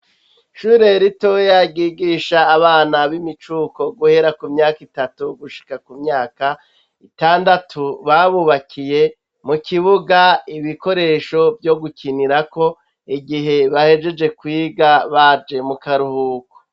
Ishure ritoya ryigisha abana b'imicuko guhera ku myaka itatu gushika ku myaka itandatu. Babubakiye mu kibuga ibikoresho vyo gukinirako igihe bahejeje kwiga baje mu karuhuko.